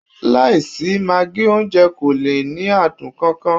Láìsí magí, oúnjẹ kò lè ní adùn kan kan